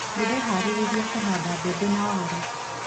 Ndĩreharĩrĩria kũhanda mbembe na waru.